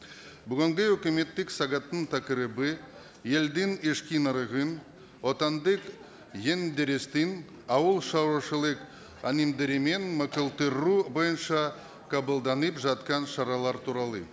бүгінгі өкіметтік сағаттың тақырыбы елдің ішкі нарығын отандық ауыл шаруашылық бойынша қабылданып жатқан шаралар туралы